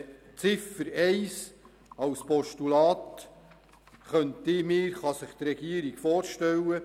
Die Überweisung von Ziffer 1 kann sich die Regierung als Postulat vorstellen.